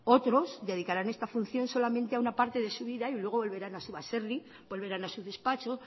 otros dedicarán esta función solamente a una parte de su vida y luego volverán a su baserri volverán a su despacho